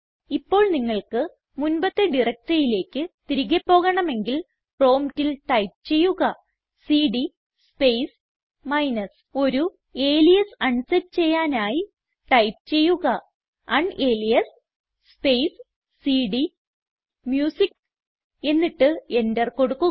ഇപ്പോൾ നിങ്ങൾക്ക് മുൻപത്തെ directoryയിലേക്ക് തിരികെ പോകണമെങ്കിൽ പ്രോംപ്റ്റിൽ ടൈപ്പ് ചെയ്യുക സിഡി സ്പേസ് മൈനസ് ഒരു അലിയാസ് അൺ സെറ്റ് ചെയ്യാനായി ടൈപ്പ് ചെയ്യുക ഉനാലിയാസ് സ്പേസ് സിഡിഎംയൂസിക്ക് എന്നിട്ട് എന്റർ കൊടുക്കുക